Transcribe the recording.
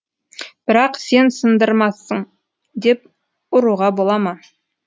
бірақ сен сындырамысың деп ұруға бола ма